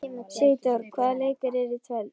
Sigdór, hvaða leikir eru í kvöld?